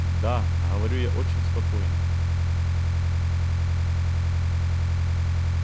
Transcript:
да говорю я очень спокойно